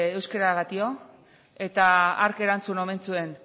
euskeragatik eta hark erantzun omen zuen